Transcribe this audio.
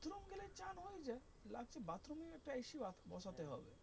বসাতে হবে।